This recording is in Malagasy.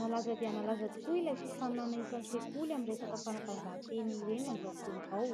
Nalaza dia nalaza tokoa ilay fifaninana isan-tsekoly amin'ny resaka fanatanjahantena ireny amin'izao fotoana izao.